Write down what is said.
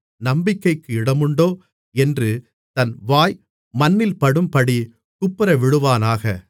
நம்பிக்கைக்கு இடமுண்டோ என்று தன் வாய் மண்ணில்படும்படி குப்புறவிழுவானாக